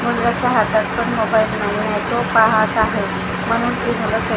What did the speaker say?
मुलाच्या हातात पण मोबाईल नवीन आहे तो पाहत आहे म्हणून --